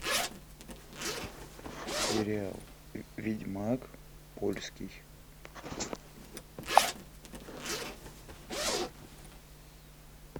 сериал ведьмак польский